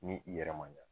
Ni i yɛrɛ ma ɲa